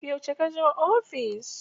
Yauce ka zo ofis?